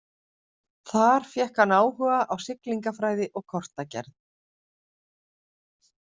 Þar fékk hann áhuga á siglingafræði og kortagerð.